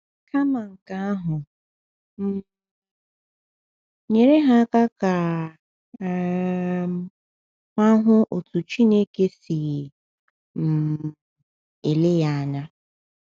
Kama nke ahụ, um nyere ha ka um ha hụ otu Chineke si um ele ya anya.